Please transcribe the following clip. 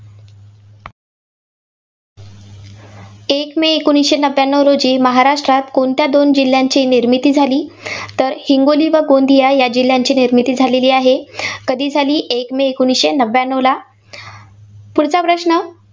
एक मे एकोणीसशे नव्यानव रोजी महाराष्ट्रात कोणत्या दोन जिल्ह्यांची निर्मिती झाली? तर हिंगोली व गेंदिया जिल्ह्यांची निर्मिती झालेली आहे. कधी झाली एक मे एकोणसशे नव्यानवला. पुढचा प्रश्न.